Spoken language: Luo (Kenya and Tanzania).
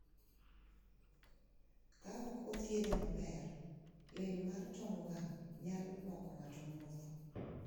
Kaok othiedhe maber, lil mar tong wang` nyalo loko ng`ato mwofu.